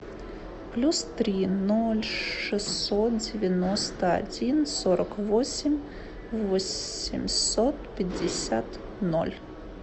плюс три ноль шестьсот девяносто один сорок восемь восемьсот пятьдесят ноль